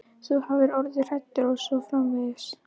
Þú hafir orðið hræddur og svo framvegis.